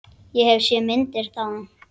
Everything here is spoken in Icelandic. Ég hef séð myndir þaðan.